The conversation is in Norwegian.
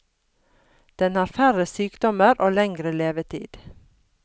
Den har færre sykdommer og lengre levetid.